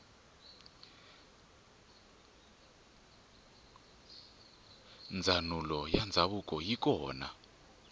ndzanulo yandzavuko yikona